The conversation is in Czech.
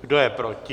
Kdo je proti?